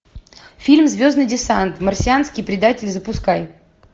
фильм звездный десант марсианский предатель запускай